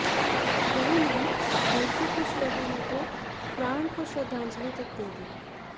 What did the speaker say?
यही नहीं बल्कि कुछ लोगों ने तो प्राण को श्रृद्धांजलि तक दे दी